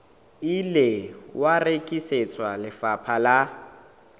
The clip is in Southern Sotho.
ile wa rekisetswa lefapha la